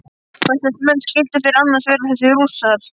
Hverslags menn skyldu þeir annars vera þessir Rússar?